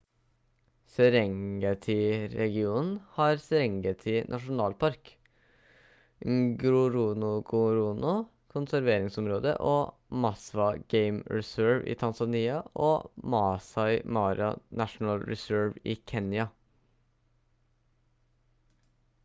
serengeti-regionen har serengeti nasjonalpark ngorongoro konserveringsområde og maswa game reserve i tanzania og maasai mara national reserve i kenya